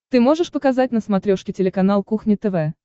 ты можешь показать на смотрешке телеканал кухня тв